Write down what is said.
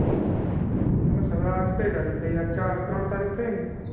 બસ હવે આજ કઈ તારીખ થઇ આજ ચા~ ત્રણ તારીખ થઈ ને?